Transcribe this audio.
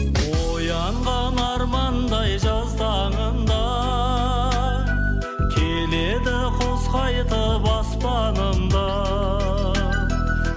оянған армандай жаз таңында келеді құс қайтып аспанымда